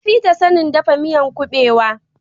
Ya fi ta sanin dafa miyan kubewa